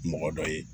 Mɔgɔ dɔ ye